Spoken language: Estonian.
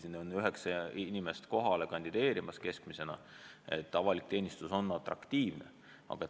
Sinna soovib tööle päris palju inimesi, keskmiselt üheksa inimest kandideerib kohale.